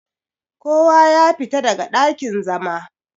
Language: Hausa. Ko wa ya fita daga dakin-zama!